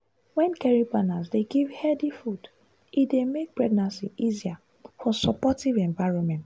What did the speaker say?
wen caring partners dey give healthy food e dey make pregnancy easier for supportive environment.